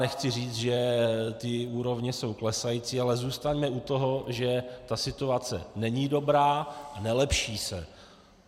Nechci říct, že ta úroveň je klesající, ale zůstaňme u toho, že ta situace není dobrá, nelepší se.